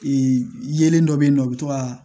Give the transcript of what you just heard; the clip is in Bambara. Ee yelen dɔ bɛ yen nɔ u bɛ to ka